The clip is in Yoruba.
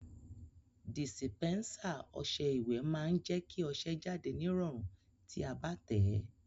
Dìsìpẹ́nsà ọsẹ ìwẹ̀ má n je kí ọsẹ jáde nírọ̀rùn ti a bá tẹ̀ẹ́